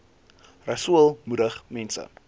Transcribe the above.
rasool moedig mense